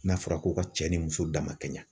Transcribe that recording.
N'a fɔra ko ka cɛ ni muso dama ka ɲɛ.